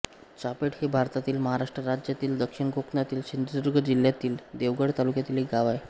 चाफेड हे भारतातील महाराष्ट्र राज्यातील दक्षिण कोकणातील सिंधुदुर्ग जिल्ह्यातील देवगड तालुक्यातील एक गाव आहे